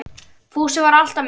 Fúsi var alltaf með